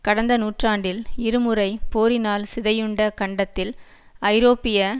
கடந்த நூற்றாண்டில் இரு முறை போரினால் சிதையுண்ட கண்டத்தில் ஐரோப்பிய